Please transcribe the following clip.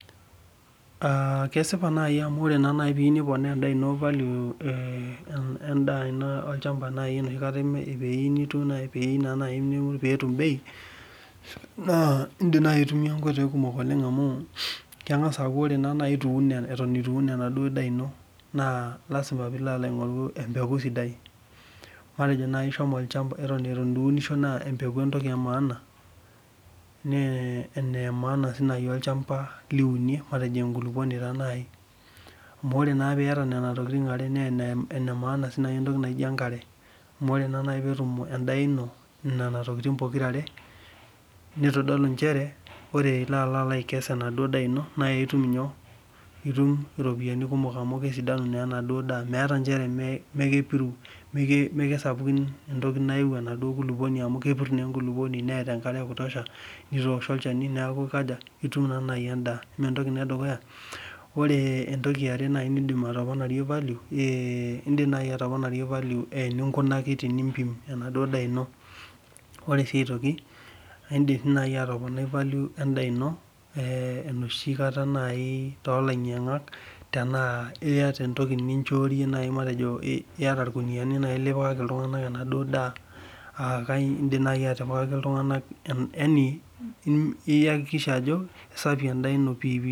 Aa kesipa nai ajo ore peyieu nipona value arashu piyieu niponaa nitum bei na indim aitumia nkoitoi kumok amu kengasa aaku ore itun enaduo daa ino na lasima pilo aingori empuku sidai ore ata ituunisho na empeku enamaana arashu olchamba liunie matejo enkulukuoni nai amu ore nai piata nona tokitin na enemaana sinye entoki naiji enkare amu ore petum endaa ino nona tokitin pokira are na ore ilo akes inadaa ino itum iropiyiani kumok amu kesidanu enaduo ndaa meeta nchere keiu endaa sapuk enaduo kulukuoni amu kepir enaduo kulukuoni amu kepir neeta enkare ekutusha neaku itum nai endaa ore entoki eare nindim atoponarie value enaduo daa ino indim nai atopai value endaa ino enoshikata tolainyangak matejo iata ewoi nipikaki ltunganak enaduo daa aa indim nai atipikaki ltunganak iakikisha ajo kesafi endaa ino piipii